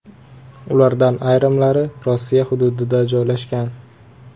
Ulardan ayrimlari Rossiya hududida joylashgan.